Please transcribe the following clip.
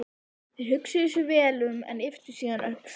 Þeir hugsuðu sig vel um en ypptu síðan öxlum.